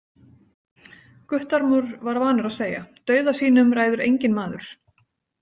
Guttormur var vanur að segja: dauða sínum ræður enginn maður.